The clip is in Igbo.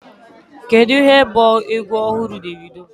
Kedu ihe bụ egwu ọhụrụ Davido?